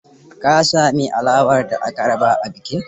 Ka sami alawar da aka raba a bikin?